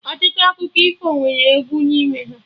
Ọtụtụ akụkọ ifo nwere egwu n'ime ha